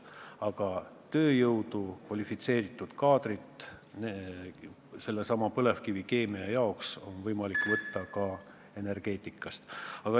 Aga tööjõudu, kvalifitseeritud kaadrit sellesama põlevkivikeemia jaoks on võimalik võtta ka energeetikast.